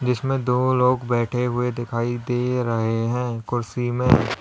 इसमें दो लोग बैठे हुए दिखाई दे रहे हैं कुर्सी में।